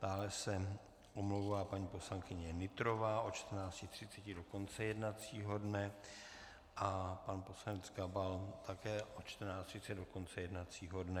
Dále se omlouvá paní poslankyně Nytrová od 14.30 do konce jednacího dne a pan poslanec Gabal také od 14.30 do konce jednacího dne.